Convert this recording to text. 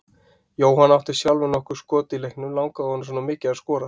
Jóhann átti sjálfur nokkur skot í leiknum, langaði honum svona mikið að skora?